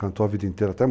Cantou a vida inteira até